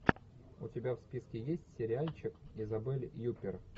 у тебя в списке есть сериальчик изабель юппер